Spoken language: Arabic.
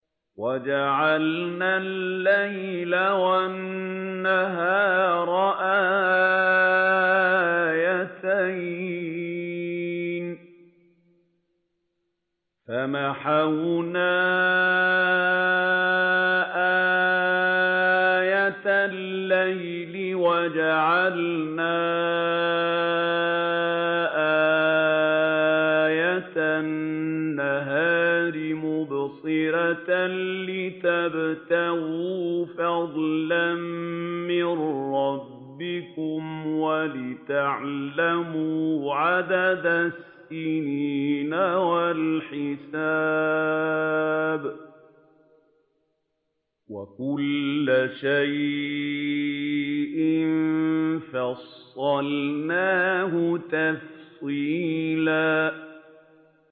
وَجَعَلْنَا اللَّيْلَ وَالنَّهَارَ آيَتَيْنِ ۖ فَمَحَوْنَا آيَةَ اللَّيْلِ وَجَعَلْنَا آيَةَ النَّهَارِ مُبْصِرَةً لِّتَبْتَغُوا فَضْلًا مِّن رَّبِّكُمْ وَلِتَعْلَمُوا عَدَدَ السِّنِينَ وَالْحِسَابَ ۚ وَكُلَّ شَيْءٍ فَصَّلْنَاهُ تَفْصِيلًا